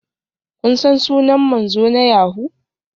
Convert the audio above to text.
Kun san sunan manzo na yahoo?